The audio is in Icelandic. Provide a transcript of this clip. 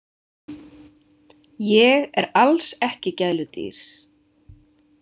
Ég er alls ekki gæludýr.